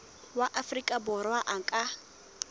wa afrika borwa a ka